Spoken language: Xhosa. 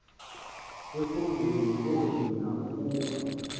ekhondweni loonina ukuba